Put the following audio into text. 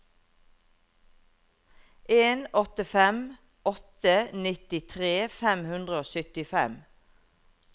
en åtte fem åtte nittitre fem hundre og syttifem